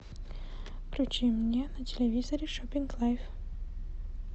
включи мне на телевизоре шопинг лайф